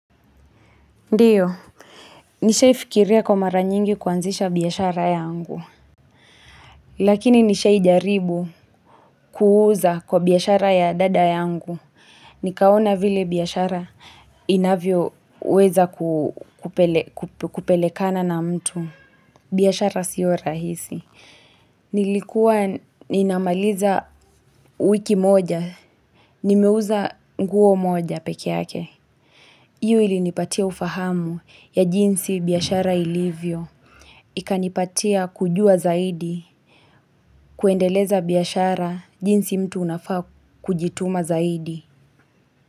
Ndiyo. Nisha ifikiria kwa mara nyingi kuanzisha biyashara yangu. Lakini nisha ijaribu kuuuza kwa biyashara ya dada yangu. Nikaona vile biyashara inavyo uweza kupelekana na mtu. Biyashara siora hisi. Nilikuwa ninamaliza wiki moja. Nimeuza nguo moja pekeyake. Iyo ilinipatia ufahamu ya jinsi biyashara ilivyo. Ikanipatia kujua zaidi, kuendeleza biyashara jinsi mtu unafaa kujituma zaidi.